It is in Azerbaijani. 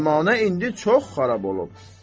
Cəmanə indi çox xarab olub.